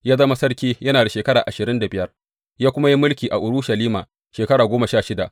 Ya zama sarki yana da shekara ashirin da biyar, ya kuma yi mulki a Urushalima shekara goma sha shida.